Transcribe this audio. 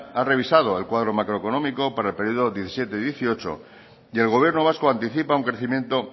ha revisado el cuadro macroeconómico para el periodo dos mil diecisiete dos mil dieciocho y el gobierno vasco anticipa un crecimiento